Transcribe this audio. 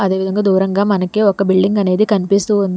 అదేవిదంగా దూరంగా మనకే ఒక బిల్డింగ్ అనేది కనిపిస్తుంది.